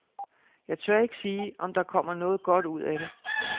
Jeg tør ikke sige, om der kommer noget godt ud af det.